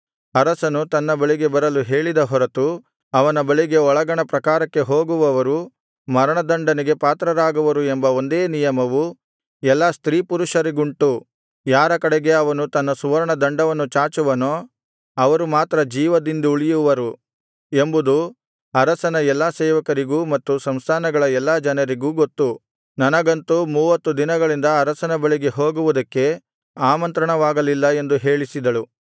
ಅರಸನು ತನ್ನ ಬಳಿಗೆ ಬರಲು ಹೇಳಿದ ಹೊರತು ಅವನ ಬಳಿಗೆ ಒಳಗಣ ಪ್ರಾಕಾರಕ್ಕೆ ಹೋಗುವವರು ಮರಣದಂಡನೆಗೆ ಪಾತ್ರರಾಗುವರು ಎಂಬ ಒಂದೇ ನಿಯಮವು ಎಲ್ಲಾ ಸ್ತ್ರೀಪುರುಷರಿಗುಂಟು ಯಾರ ಕಡೆಗೆ ಅವನು ತನ್ನ ಸುವರ್ಣದಂಡವನ್ನು ಚಾಚುವನೋ ಅವರು ಮಾತ್ರ ಜೀವದಿಂದುಳಿಯುವರು ಎಂಬುದು ಅರಸನ ಎಲ್ಲಾ ಸೇವಕರಿಗೂ ಮತ್ತು ಸಂಸ್ಥಾನಗಳ ಎಲ್ಲಾ ಜನರಿಗೂ ಗೊತ್ತು ನನಗಂತೂ ಮೂವತ್ತು ದಿನಗಳಿಂದ ಅರಸನ ಬಳಿಗೆ ಹೋಗುವುದಕ್ಕೆ ಆಮಂತ್ರಣವಾಗಲಿಲ್ಲ ಎಂದು ಹೇಳಿಸಿದಳು